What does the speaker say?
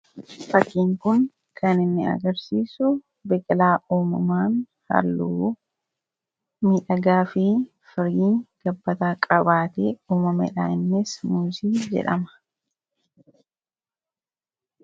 fakkiin kun kan inni agarsiisu biqilaa uumamaan halluu miidhagaa fi firii gabbataa qabaatee uumameedha innis muusii jedhama